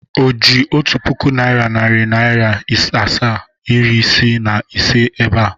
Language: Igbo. O ji otu pụkụ naira, nari naira asaa, iri isiii na ise ebe a?